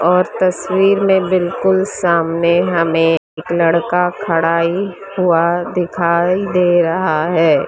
और तस्वीर में बिल्कुल सामने हमें एक लड़का खड़ा ही हुआ दिखाई दे रहा है।